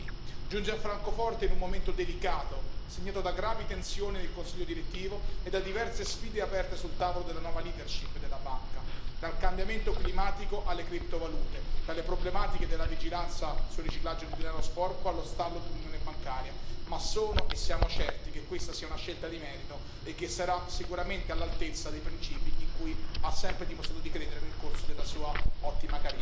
Giunge a Francoforte in un momento delicato, segnato da gravi tensioni nel consiglio direttivo e da diverse sfide aperte sul tavolo della nuova leadership della banca dal cambiamento climatico alle criptovalute, dalle problematiche della vigilanza sul riciclaggio di denaro sporco allo stallo dell'Unione bancaria, ma sono e siamo certi che questa sia una scelta di merito e che sarà sicuramente all'altezza dei principi in cui ha sempre dimostrato di credere nel corso della sua ottima carriera.